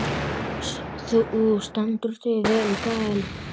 Þú stendur þig vel, Gael!